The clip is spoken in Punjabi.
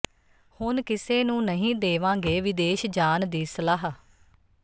ਹੁਣ ਕਿਸੇ ਨੂੰ ਨਹੀਂ ਦੇਵਾਂਗੇ ਵਿਦੇਸ਼ ਜਾਣ ਦੀ ਸਲਾਹ